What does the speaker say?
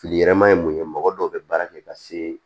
Filiyɛrɛma ye mun ye mɔgɔ dɔw bɛ baara kɛ ka se